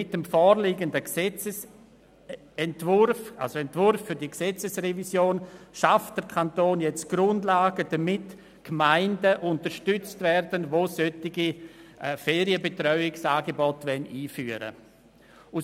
Mit dem vorliegenden Entwurf für die Gesetzesrevision schafft der Kanton die Grundlagen zur Unterstützung von Gemeinden, die solche Ferienbetreuungsangebote einführen wollen.